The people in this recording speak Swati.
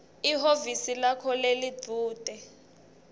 ehhovisi lakho lelidvute